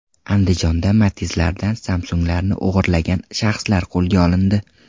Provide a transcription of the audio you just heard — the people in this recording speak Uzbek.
Andijonda Matiz’lardan Samsung‘larni o‘g‘irlagan shaxslar qo‘lga olindi.